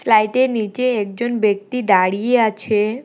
স্লাইটের নীচে একজন ব্যক্তি দাঁড়িয়ে আছে।